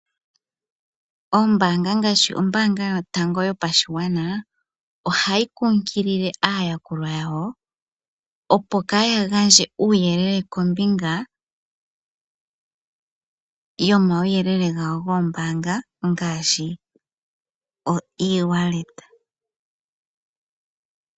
Ombaanga ngaashi ombaanga yotango yopashigwana ohayi kunkilile aayakulwa yawo opo kaa ya gandje uuyelele kombinga omauyelele gawo goombaanga ngaashi oewallet.